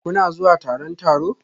Kuna zuwa taron taro?